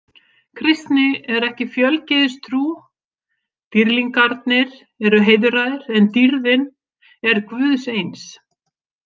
Kristni er ekki fjölgyðistrú, dýrlingarnir eru heiðraðir en dýrðin er guðs eins.